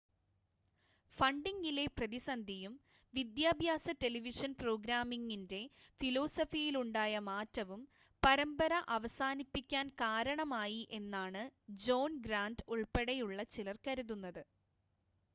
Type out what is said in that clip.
ഫണ്ടിംഗിലെ പ്രതിസന്ധിയും വിദ്യാഭ്യാസ ടെലിവിഷൻ പ്രോഗ്രാമിംഗിൻ്റെ ഫിലോസഫിയിലുണ്ടായ മാറ്റവും പരമ്പര അവസാനിപ്പിക്കാൻ കാരണമായി എന്നാണ് ജോൺ ഗ്രാൻ്റ് ഉൾപ്പെടെയുള്ള ചിലർ കരുതുന്നത്